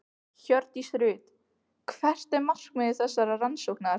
Hjördís Rut: Hvert er markmið þessarar rannsóknar?